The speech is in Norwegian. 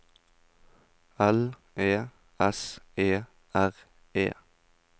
L E S E R E